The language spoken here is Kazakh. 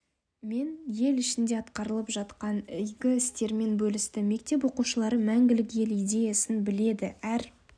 мен ел ішінде атқарылып жатқан игі істерімен бөлісті мектеп оқушылары мәңгілік ел идеясын біледі әр